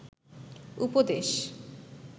উপদেশ